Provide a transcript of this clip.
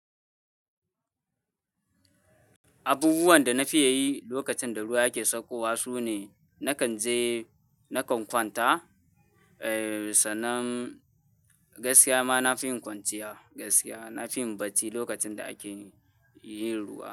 Abubuwan da na fi yi lokacin da ruwa ake sakawa su ne, na kan je nakan kwanta, eh, sannan gaskiya ma na fi yin kwanciya. Gaskiya na fi yin bacci lokacin da ake yin ruwa.